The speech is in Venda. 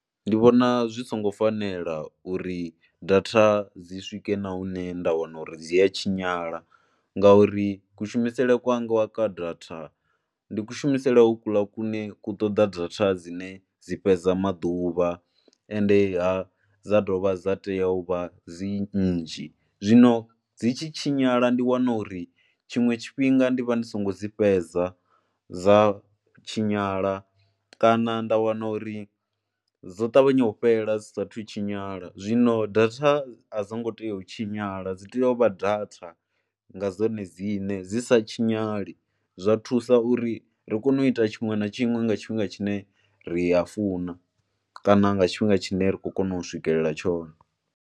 Ndi vhona zwi songo fanela uri data dzi swike na hune nda wana uri dzi a tshinyala ngauri kushumisele kwanga wa ka data ndi kushumisele ho kuḽa kune ku ṱoḓa data dzine dzi fhedza maḓuvha ende ha dza dovha dza tea u vha dzi nnzhi. Zwino dzi tshi tshinyala ndi wana uri tshiṅwe tshifhinga ndi vha ndi songo dzi fhedza, dza tshinyala kana nda wana uri dzo ṱavhanya u fhela dzi saathu tshinyala, zwino data a dzi ngo tea u tshinyala dzi tea u vha data nga dzone dzine dzi sa tshinyale. Zwa thusa uri ri kone u ita tshiṅwe na tshiṅwe nga tshifhinga tshine ri a funa kana nga tshifhinga tshine ra kho kona u swikelela tshone.